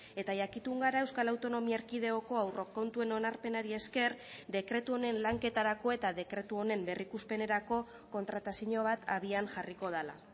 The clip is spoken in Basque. eta jakitun gara euskal autonomia erkidegoko aurrekontuen onarpenari esker dekretu honen lanketarako eta dekretu honen berrikuspenerako kontratazio bat abian jarriko dela